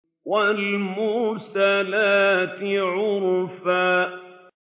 وَالْمُرْسَلَاتِ عُرْفًا